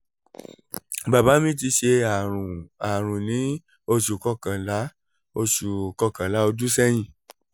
bàbá mi ti ṣe ààrùn ààrùn ní oṣù kọkànlá oṣù kọkànlá ọdún sẹ́yìn